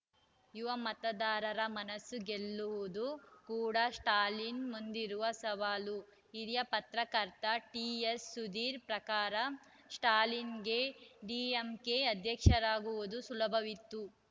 ಯುವ ಮತದಾರರ ಮನಸ್ಸು ಗೆಲ್ಲುವುದು ಕೂಡ ಸ್ಟಾಲಿನ್‌ ಮುಂದಿರುವ ಸವಾಲು ಹಿರಿಯ ಪತ್ರಕರ್ತ ಟಿಎಸ್‌ಸುಧೀರ್‌ ಪ್ರಕಾರ ಸ್ಟಾಲಿನ್‌ಗೆ ಡಿಎಂಕೆ ಅಧ್ಯಕ್ಷರಾಗುವುದು ಸುಲಭವಿತ್ತು